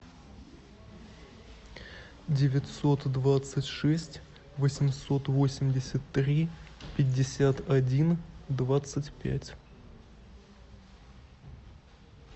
девятьсот двадцать шесть восемьсот восемьдесят три пятьдесят один двадцать пять